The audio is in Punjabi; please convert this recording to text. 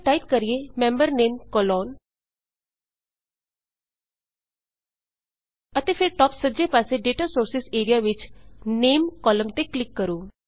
ਇੱਥੇ ਟਾਈਪ ਕਰੀਏ ਮੈਂਬਰ Name ਮੈਂਬਰ ਨਾਮ ਕੋਲਨ ਅਤੇ ਫੇਰ ਟਾਪ ਸੱਜੇ ਪਾਸੇ ਡੇਟਾ ਸੋਰਸਿਜ਼ ਏਰੀਆ ਵਿੱਚ ਨਾਮੇ ਨਾਂ ਵਾਲੇ ਕਾਲਮ ਤੇ ਕਲਿੱਕ ਕਰੋ